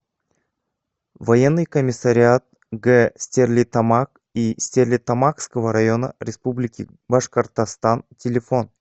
военный комиссариат г стерлитамак и стерлитамакского района республики башкортостан телефон